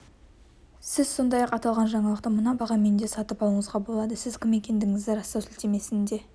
сіз сондай-ақ аталған жаңалықты мына бағамен де сатып алуыңызға болады сіз кім екендігіңізді растау сілтемесіне